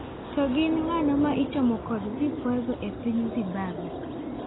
To gin ng'ano ma ichomo kod vikwazo epiny Zimbabwe?